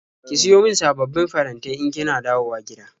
Ki siyo min sababbin farantai in kina dawowa gida.